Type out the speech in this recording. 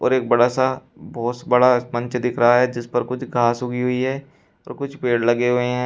और एक बड़ा सा बहोत बड़ा मंच दिख रहा है जिस पर कुछ घास उगी हुई है तो कुछ पेड़ लगे हुए हैं।